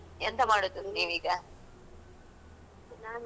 ನಾನೂ tailoring ಮಾಡ್ತಾ ಇದ್ದೀನ್ ನಾನು.